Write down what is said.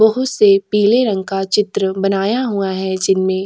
बहोत से पीले रंग का चित्र बनाया हुआ है जिन में --